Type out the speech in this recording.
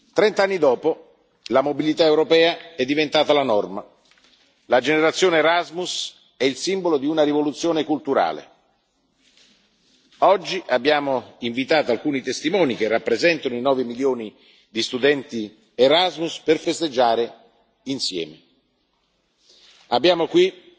per pochi. Trent'anni dopo, la mobilità europea è diventata la norma. La generazione Erasmus è il simbolo di una rivoluzione culturale. Oggi abbiamo invitato alcuni testimoni, che rappresentano i nove milioni di studenti Erasmus, per festeggiare insieme.